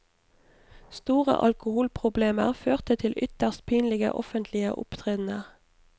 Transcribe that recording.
Store alkoholproblemer førte til ytterst pinlige offentlige opptredener.